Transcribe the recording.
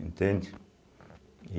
Entende? e